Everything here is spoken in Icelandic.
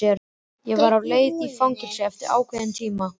Ég var á leið í fangelsi eftir óákveðinn tíma.